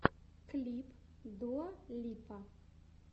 клип дуа липа